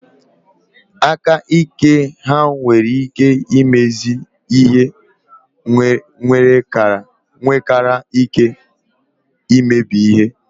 Aka ike ha nwere ike imezi ihe nwekara ike imebi ihe.